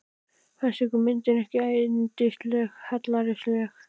Fannst ykkur myndin ekki yndislega hallærisleg?